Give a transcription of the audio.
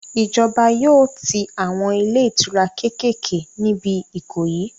Ìjọba yóò tí àwọn ilé ìtura kékèké níbi Ìkòyí